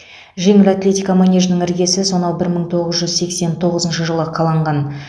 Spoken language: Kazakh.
жеңіл атлетика манежінің іргесі сонау бір мың тоғыз жүз сексен тоғызыншы жылы қаланған